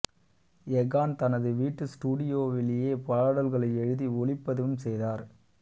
எகான் தனது வீட்டு ஸ்டுடியோவிலேயே பாடல்களை எழுதி ஒலிப்பதிவும் செய்தார்